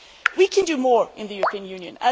We can do more in the European Union.